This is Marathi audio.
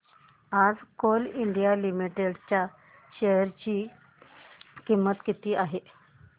आज कोल इंडिया लिमिटेड च्या शेअर ची किंमत किती आहे